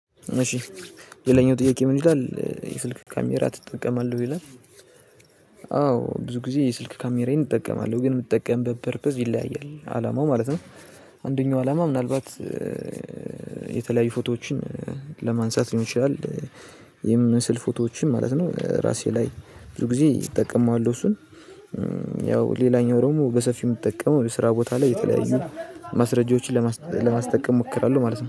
እሺ የለኝም ጥያቄው ምን ይላል የስልክ ካሜራ ትጠቀማለህ ይላል? አዎ ብዙ ጊዜ የስልክ ካሜራዬን እጠቀማለሁ ግን የምጠቀምበት ፐርፐዝ ይለያያል አላማው ማለት ነው። አንደኛው አላማ ምናልባት የተለያዩ ፎቶዎችን ለማንሳት ሊሆን ይችላል። የምስል ፎቶዎችን ማለት ነው ራሴ ላይ ብዙ ጊዜ እጠቀመዋለሁ እሱን። ያው ሌላኛው ደሞ በሰፊው የምትጠቀመው ስራ ቦታ ላይ የተለያዩ ማስረጃዎችን ለማስጠቀም እሞክራለሁ ማለት ነው